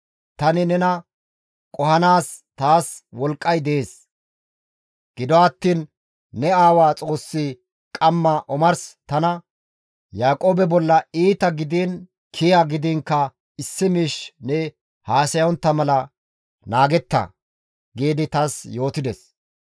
Tani nena qohanaas taas wolqqay dees; gido attiin ne aawa Xoossi qamma omars tana, ‹Yaaqoobe bolla iita gidiin kiya gidiinkka issi miish ne haasayontta mala naagetta!› giidi taas yootides.